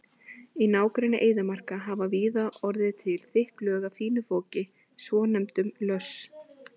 Í nágrenni eyðimarka hafa víða orðið til þykk lög af fínu foki, svonefndum löss.